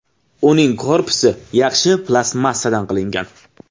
Uning korpusi yaxshi plastmassadan qilingan.